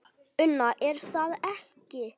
Una: Er það ekki?